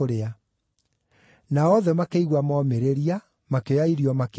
Nao othe makĩigua momĩrĩria, makĩoya irio makĩrĩa.